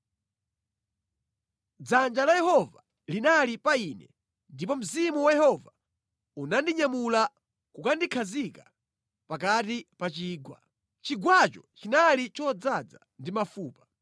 Dzanja la Yehova linali pa ine, ndipo Mzimu wa Yehova unandinyamula nʼkukandikhazika pakati pa chigwa. Chigwacho chinali chodzaza ndi mafupa.